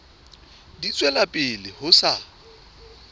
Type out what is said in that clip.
di tswela pele ho sa